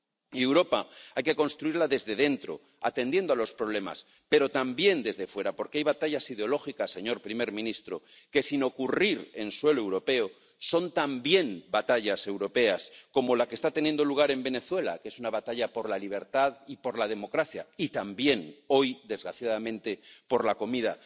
Y Europa hay que construirla desde dentro, atendiendo a los problemas, pero también desde fuera, porque hay batallas ideológicas, señor presidente del Gobierno, que sin ocurrir en suelo europeo son también batallas europeas, como la que está teniendo lugar en Venezuela, que es una batalla por la libertad y por la democracia y también hoy, desgraciadamente, por la comida.